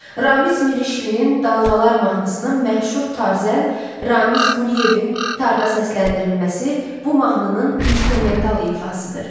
Ramiz Mirişlinin "Dalğalar" mahnısının məşhur tarzən Ramiz Quliyevin tarda səsləndirilməsi bu mahnının instrumental ifasıdır.